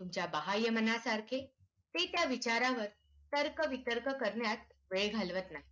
तुमच्या बाह्य मनासारखे ते त्या विचारावर तर्क वितर्क करण्यात वेळ घालवत नाही.